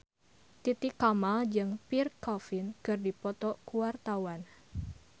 Titi Kamal jeung Pierre Coffin keur dipoto ku wartawan